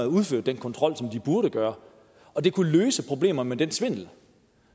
udført den kontrol som de burde gøre og det kunne løse problemerne med den svindel